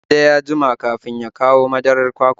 Tunde ya jima kafin ya kawo madarar kwakwar